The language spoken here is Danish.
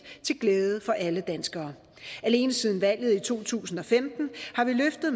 til glæde for alle danskere alene siden valget i to tusind og femten har vi løftet